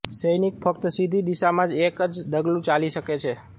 સૈનિકઃ ફક્ત સીધી દિશામાં જ એક જ ડગલું ચાલી શકે છે